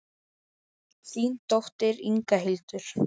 Þín dóttir, Inga Hildur.